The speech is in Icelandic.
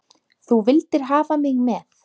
Þú vildir hafa mig með.